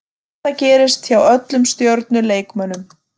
Þetta gerist hjá öllum stjörnu leikmönnum.